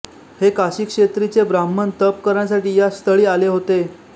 हे काशीक्षेत्रीचे ब्राह्मण तप करण्यासाठी या स्थळी आले होत़े